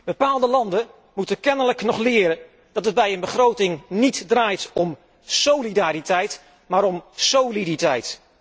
Bepaalde landen moeten kennelijk nog leren dat het bij een begroting niet draait om solidariteit, maar om soliditeit.